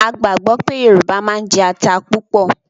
A gbàgbọ́ pé Yorùbá máa ń jẹ ata púpọ̀